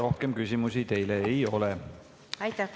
Rohkem küsimusi teile ei ole.